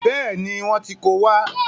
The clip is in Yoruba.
Bẹ́ẹ̀ni, wọ́n ti ko wá.